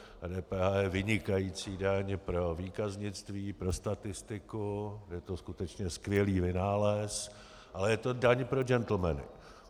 DPH je vynikající daň pro výkaznictví, pro statistiku, je to skutečně skvělý vynález, ale je to daň pro gentlemany.